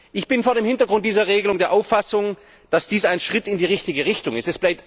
Ich bin vor dem Hintergrund dieser Regelung der Auffassung, dass dies ein Schritt in die richtige Richtung ist.